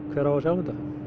hver á að sjá um þetta